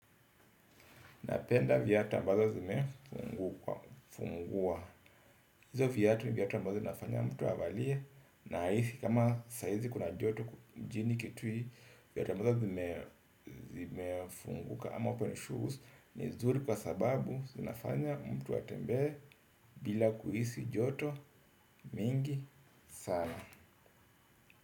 Napenda viatu ambazo zimefungua. Hizo viatu ni viatu ambazo zinafanya mtu avalie. Na hisi kama saa hizi kuna joto mjini kitui viatu ambazo zime zimefunguka ama open shoes ni nzuri kwa sababu zinafanya mtu a tembee bila kuhisi joto mingi sana.